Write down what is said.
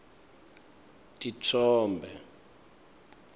titfombe